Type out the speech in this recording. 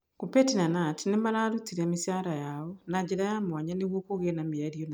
Kuppet na Knut nĩ maarutĩte mĩcaara yao na njĩra ya mwanya nĩguo kũgĩe na mĩario na TSC.